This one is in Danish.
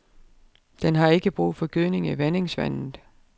Den har ikke brug for gødning i vandingsvandet.